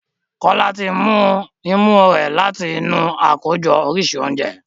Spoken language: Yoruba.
Jola tí mú òun imú rẹ láti inú Àkójọ oríṣi oúnjẹ.